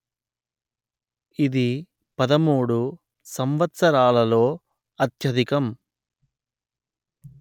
ఇది పదమూడు సంవత్సరాలలో అత్యధికం